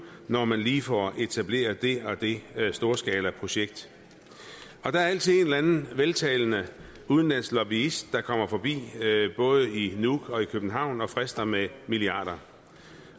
når man lige får etableret det og det storskalaprojekt og der er altid en eller anden veltalende udenlandsk lobbyist der kommer forbi både i nuuk og i københavn og frister med milliarder